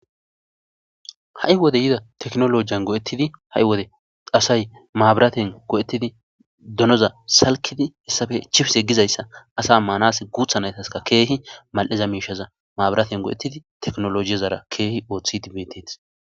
Ha'i wode yida tekinolojiyan go'etidi asay maabiraten go'etidi donaza salkidi hessappe chipise gizayssa asa maanassi guuththa naytaskka keehi mal'iza miishshaza maabiratiyan go'etidi tekinolojezara keehi oothidi beetetees.